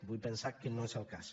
vull pensar que no és el cas